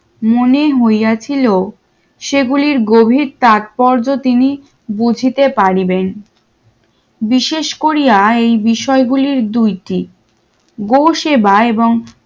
মনে হইয়াছিল সেগুলির গভীর তাৎপর্য তিনি বুঝিতে পারিবেন বিশেষ কোরিয়া এই বিষয়গুলির দুইটি বসে এবং